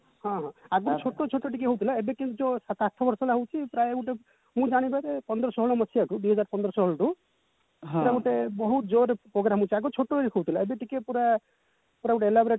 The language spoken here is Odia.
ହଁ ଆଗରୁ ଛୋଟ ଛୋଟ ଟିକେ ହଉଥିଲା ଏବେ କିନ୍ତୁ ଯଉ ସାତ ଆଠ ବର୍ଷ ହେଲା ହଉଚି ପ୍ରାୟ ଗୋଟେ ମୁଁ ଜାଣିବାରେ ପନ୍ଦର ଷୋହଳ ମସିହାରୁ ଦୁଇ ହଜାର ପନ୍ଦର ଷୋହଳରୁ ପୁରା ଗୋଟେ ବହୁତ ଜୋରେ ରେ program ହଉଥିଲା ଆଗରୁ ଛୋଟ ହଉଥିଲା ଏବେ ଟିକେ ପୁରା ପୁରା ଗୋଟେ elaborate